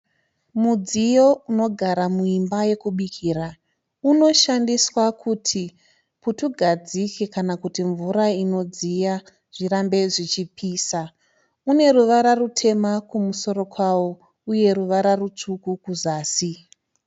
Mudziyo inogara muimba yekubikira unoshandiswa kuti putugadzike kana kuti mvura inodziya zvirambe zvichipisa. Uneruvara rutema kumusoro kwawo uye ruvara rutsvuku kuzasi.